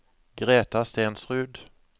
Greta Stensrud